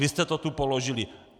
Vy jste to tu položili!